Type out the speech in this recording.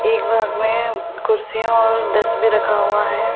एक भाग में कुर्सियां और डेस भी रखा हुआ है।